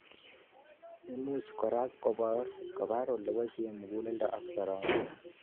Imuch kora kobor oleboisietoi muguleldo ak soromoik